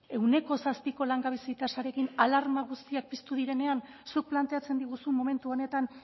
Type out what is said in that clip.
ehuneko zazpiko langabezia tasarekin alarma guztiak piztu direnean zuk planteatzen diguzu momentu honetan